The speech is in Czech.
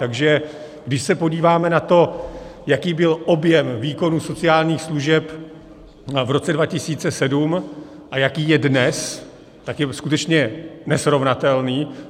Takže když se podíváme na to, jaký byl objem výkonů sociálních služeb v roce 2007 a jaký je dnes, tak je skutečně nesrovnatelný.